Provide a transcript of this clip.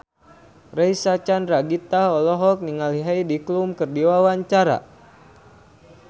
Reysa Chandragitta olohok ningali Heidi Klum keur diwawancara